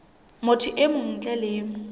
motho e mong ntle le